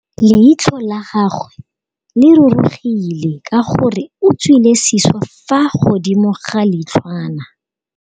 Leitlhô la gagwe le rurugile ka gore o tswile sisô fa godimo ga leitlhwana.